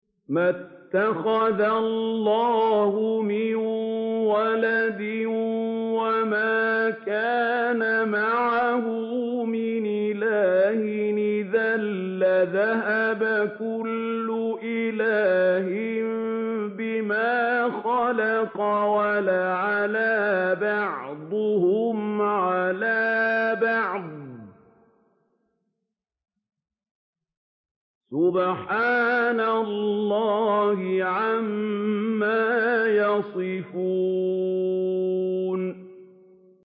مَا اتَّخَذَ اللَّهُ مِن وَلَدٍ وَمَا كَانَ مَعَهُ مِنْ إِلَٰهٍ ۚ إِذًا لَّذَهَبَ كُلُّ إِلَٰهٍ بِمَا خَلَقَ وَلَعَلَا بَعْضُهُمْ عَلَىٰ بَعْضٍ ۚ سُبْحَانَ اللَّهِ عَمَّا يَصِفُونَ